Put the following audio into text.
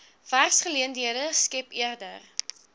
werksgeleenthede skep eerder